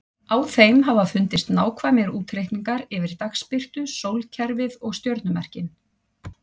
Á þeim hafa fundist nákvæmir útreikningar yfir dagsbirtu, sólkerfið og stjörnumerkin.